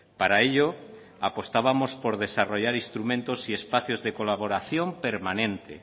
para ello apostábamos por desarrollar instrumentos y espacios de colaboración permanente